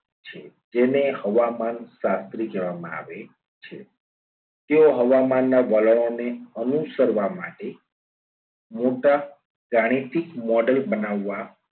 છે. જેને હવામાન શાસ્ત્રી કેહવામાં આવે છે તેઓ હવામાનના વલણોને અનુસરવા માટે મોટા ગાણિતિક model બનાવવા